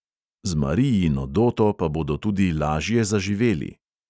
Z marijino doto pa bodo tudi lažje zaživeli.